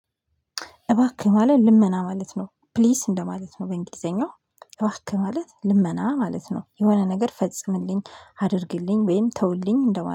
እባክህ ማለት ልመና ማለት ነው። ፕሊስ እንደማለት ነው። በእንግሊዘኛው እባክህ ማለት ልመና ማለት ነው። የሆነ ነገር ፈጽምልኝ አድርግልኝ ወይም ተውልኝ እንደማ